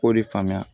K'o de faamuya